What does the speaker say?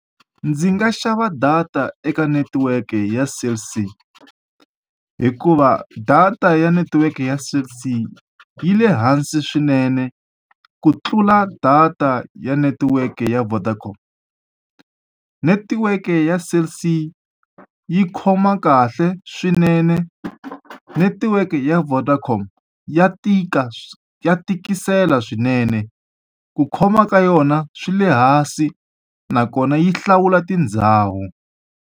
Ndzi nga xava data eka netiweke ya Cell C. Hikuva data ya netiweke ya Cell C yi le hansi swinene ku tlula data ya netiweke ya Vodacom. Netiweke ya Cell C yi khoma kahle swinene, netiweke ya Vodacom ya tika ya tikisela swinene. Ku khoma ka yona swi le hansi, nakona yi hlawula tindhawu.